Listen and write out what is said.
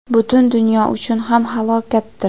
butun dunyo uchun ham halokatdir.